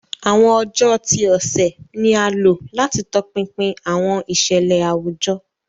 Awọn ọjọ ti ọsẹ ni a lo lati tọpinpin awọn iṣẹlẹ awujọ.